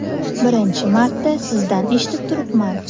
Birinchi marta sizdan eshitib turibman.